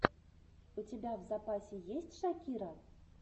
у тебя в запасе есть шакира